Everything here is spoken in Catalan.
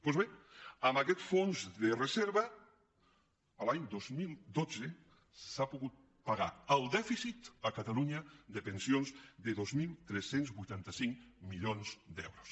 doncs bé amb aquest fons de reserva l’any dos mil dotze s’ha pogut pagar el dèficit a catalunya de pensions de dos mil tres cents i vuitanta cinc milions d’euros